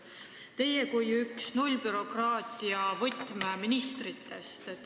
Teie olete üks nullbürokraatia võtmeministritest.